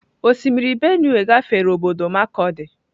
Osimiri Benue gafere obodo markurdi.